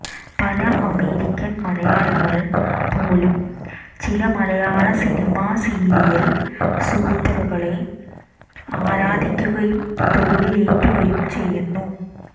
പല അമേരിക്കൻ മലയാളികൾ പോലും ചില മലയാള സിനിമാ സീരിയൽ സൂപ്പറുകളെ ആരാധിക്കുകയും തോളിലേറ്റുകയും ചെയ്യുന്നു